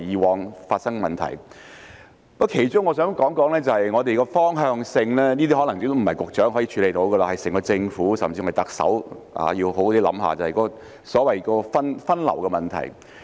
我想談的其中一點是我們的方向，這可能並非局長一人能處理的問題，整個政府甚至特首應好好思考分流的問題。